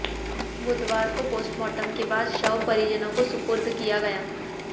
बुधवार को पोस्टमार्टम के बाद शव परिजनों को सुपुर्द किया गया